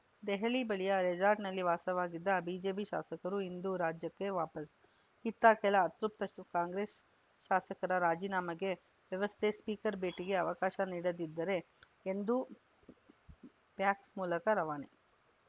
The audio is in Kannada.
ದೆಹಲಿ ಬಳಿಯ ರೆಸಾರ್ಟ್‌ನಲ್ಲಿ ವಾಸವಿದ್ದ ಬಿಜೆಪಿ ಶಾಸಕರು ಇಂದು ರಾಜ್ಯಕ್ಕೆ ವಾಪಸ್‌ ಇತ್ತ ಕೆಲ ಅತೃಪ್ತ ಸ್ ಕಾಂಗ್ರೆಸ್‌ ಶಾಸಕರ ರಾಜೀನಾಮೆಗೆ ವ್ಯವಸ್ಥೆ ಸ್ಪೀಕರ್‌ ಭೇಟಿಗೆ ಅವಕಾಶ ನೀಡದಿದ್ದರೆ ಎಂದು ಫ್ಯಾಕ್ಸ್‌ ಮೂಲಕ ರವಾನೆ